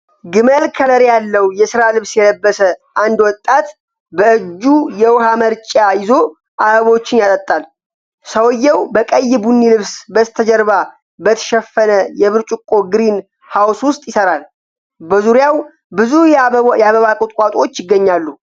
ግመል ከለር ያለው የሥራ ልብስ የለበሰ አንድ ወጣት በእጁ የውኃ መርጪያ ይዞ አበቦችን ያጠጣል። ሰውዬው በቀይ-ቡኒ ልብስ በስተጀርባ በተሸፈነ የብርጭቆ ግሪን ሃውስ ውስጥ ይሰራል። በዙሪያው ብዙ የአበባ ቁጥቋጦዎች ይገኛሉ።